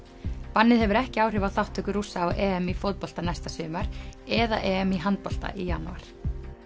bannið hefur ekki áhrif á þátttöku Rússa á EM í fótbolta næsta sumar eða EM í handbolta í janúar